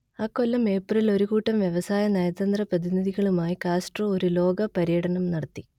അക്കൊല്ലം ഏപ്രിലിൽ ഒരു കൂട്ടം വ്യവസായ നയതന്ത്ര പ്രതിനിധികളുമായി കാസ്ട്രോ ഒരു ലോക പര്യടനം നടത്തി